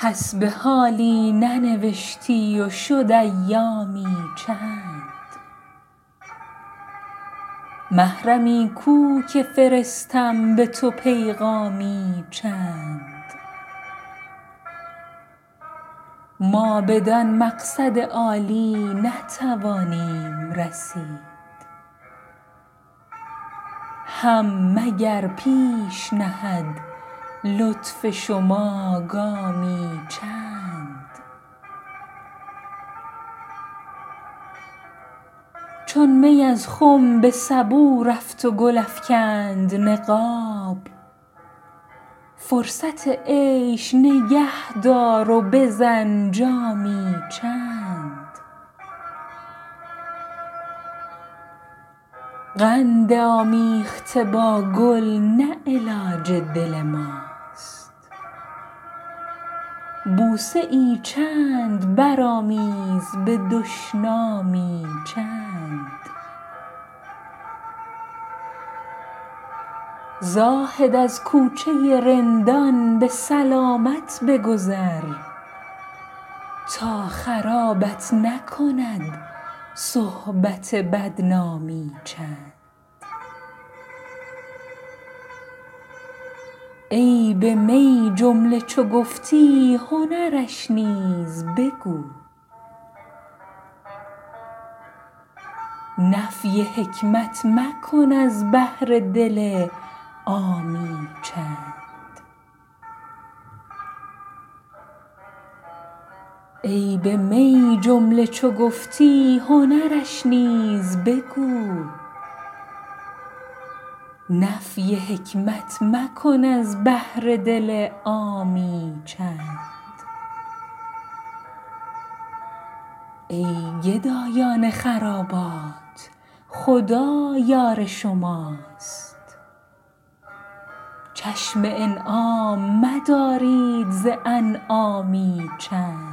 حسب حالی ننوشتی و شد ایامی چند محرمی کو که فرستم به تو پیغامی چند ما بدان مقصد عالی نتوانیم رسید هم مگر پیش نهد لطف شما گامی چند چون می از خم به سبو رفت و گل افکند نقاب فرصت عیش نگه دار و بزن جامی چند قند آمیخته با گل نه علاج دل ماست بوسه ای چند برآمیز به دشنامی چند زاهد از کوچه رندان به سلامت بگذر تا خرابت نکند صحبت بدنامی چند عیب می جمله چو گفتی هنرش نیز بگو نفی حکمت مکن از بهر دل عامی چند ای گدایان خرابات خدا یار شماست چشم انعام مدارید ز انعامی چند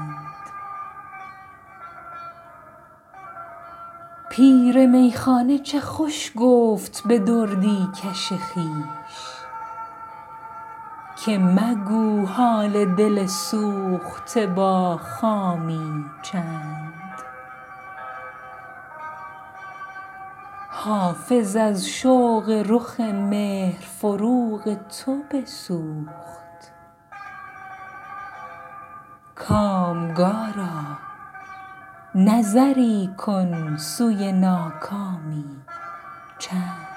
پیر میخانه چه خوش گفت به دردی کش خویش که مگو حال دل سوخته با خامی چند حافظ از شوق رخ مهر فروغ تو بسوخت کامگارا نظری کن سوی ناکامی چند